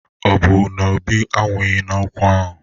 Ọ bụ na Obi anwụghi n'okwu ahụ?